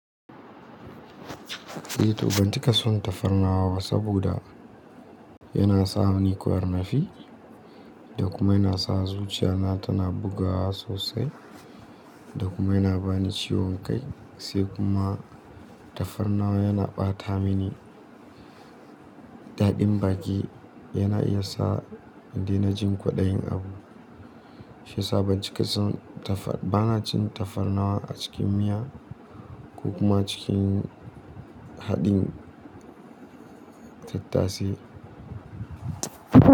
Eh to ban cika son tafarnuwa ba saboda yana sa ni ƙwar nafii da kuma yana sa zuciya na tana bugawa sosai da kuma yana bani ciwon kai. Sai kuma tafarnuwa yana ɓata mini daɗin baƙi, yana iya sa ni na jin kwaɗayin abu. Shi ya sa ban cika son tafarnawa, ban cin tafarnawa a cikin miya ko kuma cikin haɗin tattasai.